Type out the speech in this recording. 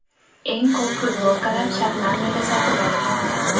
Eng ko‘p futbolkalar Shotlandiyada sotib olinmoqda.